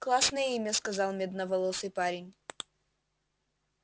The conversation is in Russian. классное имя сказал медноволосый парень